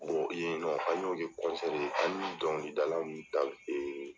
yen nɔ an y'o kɛ ye ,an y'u dɔngilidala ninnu ta